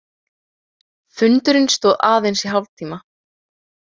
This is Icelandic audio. Fundurinn stóð aðeins í hálftíma.